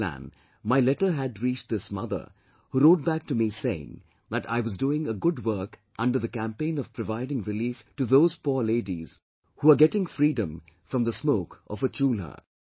Under this plan my letter had reached this mother who wrote back to me saying that I was doing a good work under the campaign of providing relief to those poor ladies who are getting freedom from the smoke of a Chulha